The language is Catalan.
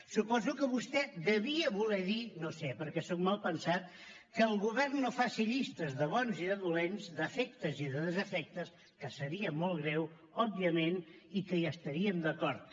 suposo que vostè devia de voler dir no sé perquè soc malpensat que el govern no faci llistes de bons i de dolents d’afectes i de desafectes que seria molt greu òbviament i que hi estaríem d’acord